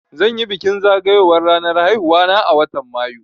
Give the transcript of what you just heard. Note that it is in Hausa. Zan yi bikin zagayowar ranar haihuwa na a watan Mayu